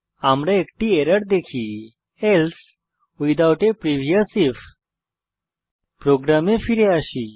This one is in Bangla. আমরা একটি এরর দেখি else without a previous IF প্রোগ্রামে ফিরে আসি